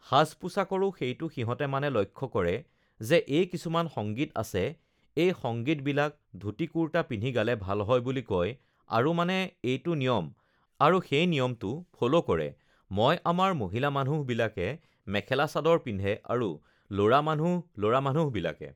সাজ-পোছাকৰো সেইটো সিহঁতে মানে লক্ষ্য কৰে যে এই কিছুমান সংগীত আছে এই সংগীতবিলাক ধূতি-কুৰ্টা পিন্ধি গালে ভাল হয় বুলি কয় আৰু মানে এইটো নিয়ম আৰু সেই নিয়মটো ফল' কৰে মই আমাৰ মহিলা মানুহবিলাকে মেখেলা-চাদৰ পিন্ধে আৰু ল'ৰা মানুহ ল'ৰা মানুহবিলাকে